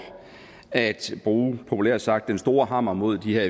at bruge populært sagt den store hammer mod de her